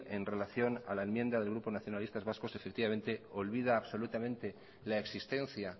en relación a la enmienda del grupo nacionalistas vascos olvida absolutamente la existencia